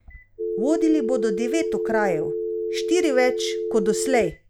Vodili bodo devet okrajev, štiri več kot doslej.